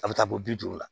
A bɛ taa bɔ bi duuru la